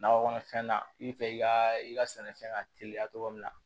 Nakɔ kɔnɔfɛn na i bɛ fɛ i ka i ka sɛnɛfɛn ka teliya togo min na